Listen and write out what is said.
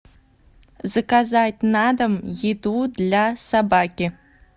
заказать на дом еду для собаки